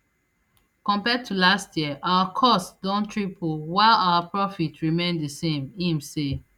compared to last year our costs don triple while our profit remain di same im say